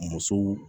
Musow